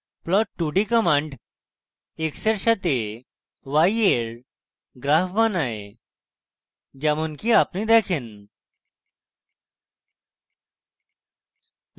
plots 2d command x এর সাথে y এর graph বানায় যেমনকি আপনি দেখেন